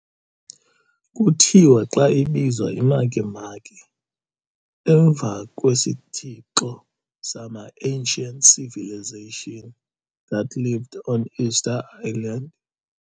Kuthiwa xa ibizwa i-Makemake emva kwesithixo sama-ancient civilization that lived on Easter island.